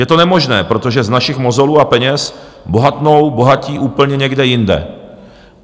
Je to nemožné, protože z našich mozolů a peněz bohatnou bohatí úplně někde jinde.